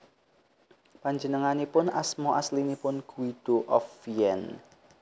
Panjenenganipun asma aslinipun Guido of Vienne